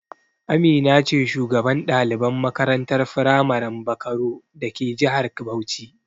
Amina ce shugaban ɗaliban makarantar firamaren Bakaro dake jihar Bauchi.